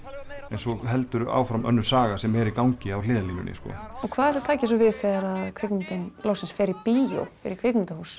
en svo heldur áfram önnur saga sem er í gangi á hliðarlínunni og hvað ætli taki svo við þegar kvikmyndin loksins fer í bíó í kvikmyndahús